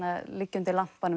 liggja undir lampanum